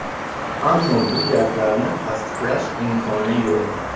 Ammo bu gaplarni tasdiqlash imkoni yo‘q.